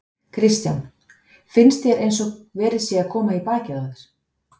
Kristján: Finnst þér eins og verið sé að koma í bakið á þér?